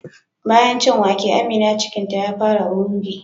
Bayan cin wake Amina cikinta ta fara ruri